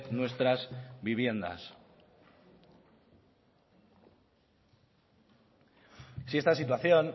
nuestras viviendas si esta situación